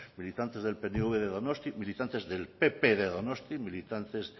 militantes del pnv de donostia militantes del pp de donostia militantes